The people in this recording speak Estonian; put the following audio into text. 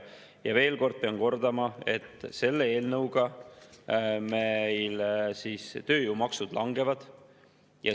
Ja veel kord pean kordama, et selle eelnõuga meil tööjõumaksud langevad.